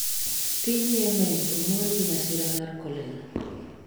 piny Yemen omonj gi masira mar kolera